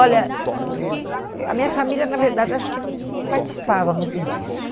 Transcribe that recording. Olha, ãh eu a minha família, na verdade, acho que não não participava muito disso.